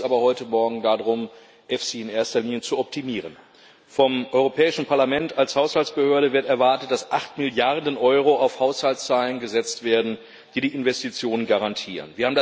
Uns geht es aber heute Morgen darum, EFSI in erster Linie zu optimieren. Vom Europäischen Parlament als Haushaltsbehörde wird erwartet, dass acht Milliarden Euro auf Haushaltszahlen gesetzt werden, die die Investitionen garantieren.